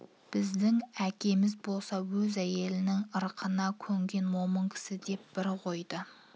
біздің әкеміз болса өз әйелінің ырқына көнген момын кісі деп бір қойды